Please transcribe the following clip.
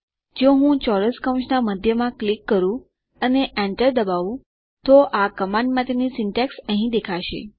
જો હું ચોરસ કૌંસના મધ્યમાં ક્લિક કરું અને enter દબાવું તો આ કમાન્ડ માટેની સિન્ટેક્સ અહીં દેખાશે